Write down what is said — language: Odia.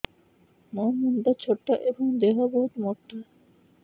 ମୋ ମୁଣ୍ଡ ଛୋଟ ଏଵଂ ଦେହ ବହୁତ ମୋଟା